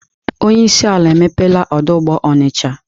Onye isi ala emepela ọdụ ụgbọ Onitsha.